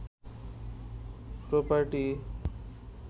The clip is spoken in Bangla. প্রপার্টি